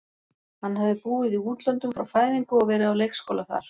Hann hafði búið í útlöndum frá fæðingu og verið á leikskóla þar.